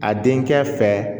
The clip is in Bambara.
A denkɛ fɛ